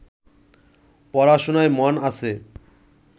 পড়াশোনায় মন আছে